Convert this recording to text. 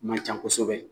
Man ca kosɛbɛ